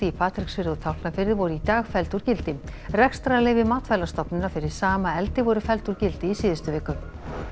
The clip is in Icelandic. Patreksfirði og Tálknafirði voru í dag felld úr gildi rekstrarleyfi Matvælastofnunar fyrir sama eldi voru felld úr gildi í síðustu viku